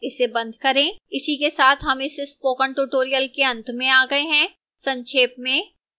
इसी के साथ हम इस स्पोकन tutorial के अंत में आ गए हैं संक्षेप में